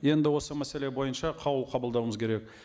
енді осы мәселе бойынша қаулы қабылдауымыз керек